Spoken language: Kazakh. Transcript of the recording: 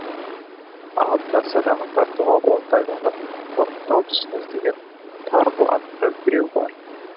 алдында садағын тартуға оңтайланып ұрымтал тұсын іздеген тарғыл атты біреу бар